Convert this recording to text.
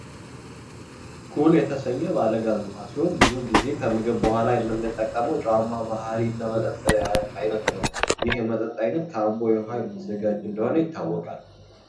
ኩል የተሰኘ ባለ ጋዝ ውሀ ሲሆን ብዙ ግዜ ከምግብ በኋላ የምንጠቀመው ጨዋማ ባህርያለው የመጠጥ አይነት ነው። ይህ የመጠጥ አይነት ከአምቦ ውሃ እንደሚዘጋጅ ይታወቃል ።